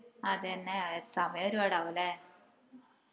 അതെന്നെ സമയം ഒരുപാട് ആവുഅല്ലേ